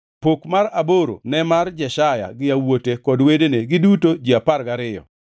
Pok mar aboro ne mar Jeshaya gi yawuote kod wedene, giduto ji apar gariyo,